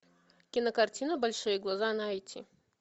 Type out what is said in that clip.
кинокартина большие глаза найти